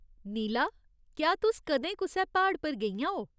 नीला, केह् तुस कदें कुसै प्हाड़ पर गेइयां ओ।